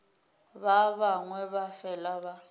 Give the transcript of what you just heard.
ba bangwe ba fela ba